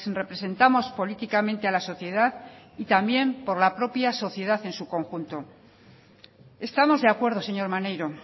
representamos políticamente a la sociedad y también por la propia sociedad en su conjunto estamos de acuerdo señor maneiro